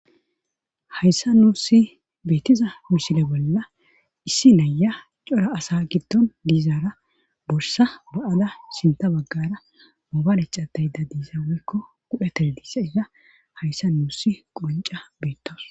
Hayssa nuussi beettiza muusile bolla issi naya cora asa giddon diizaara borsa ba'ada sinta baggara moobalecatayda diisa woykko gudhe tele diissaysa hayssa nuussi qonca beettoos.